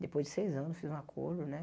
Depois de seis anos, fiz um acordo, né?